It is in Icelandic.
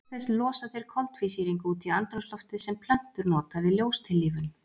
Auk þess losa þeir koltvísýring út í andrúmsloftið sem plöntur nota við ljóstillífun.